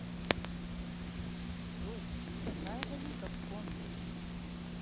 джой какая валюта в конго